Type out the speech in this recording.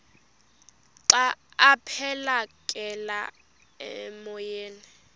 xa aphekela emoyeni